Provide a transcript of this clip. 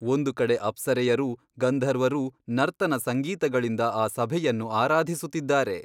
ಒಂದು ಕಡೆ ಅಪ್ಸರೆಯರೂ ಗಂಧರ್ವರೂ ನರ್ತನ ಸಂಗೀತಗಳಿಂದ ಆ ಸಭೆಯನ್ನು ಆರಾಧಿಸುತ್ತಿದ್ದಾರೆ.